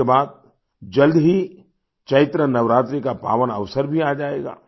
इसके बाद जल्द ही चैत्र नवरात्रि का पावन अवसर भी आ जाएगा